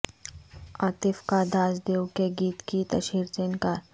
عاطف کا داس دیو کے گیت کی تشہیر سے انکار